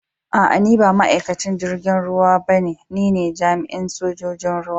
Aa, ni ba ma'aikacin jirigin ruwa ba ne, ni ne jami'in sojoji'n ruwa.